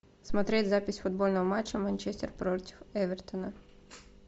смотреть запись футбольного матча манчестер против эвертона